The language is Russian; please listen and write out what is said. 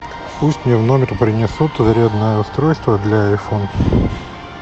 пусть мне в номер принесут зарядное устройство для айфон